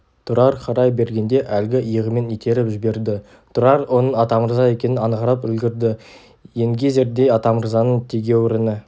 тұрар қарай бергенде әлгі иығымен итеріп жіберді тұрар оның атамырза екенін аңғарып үлгірді енгезердей атамырзаның тегеуіріні